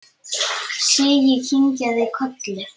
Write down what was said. Siggi kinkaði kolli.